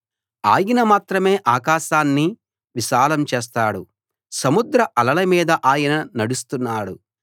ఆయన మాత్రమే ఆకాశాన్ని విశాలం చేస్తాడు సముద్ర అలల మీద ఆయన నడుస్తున్నాడు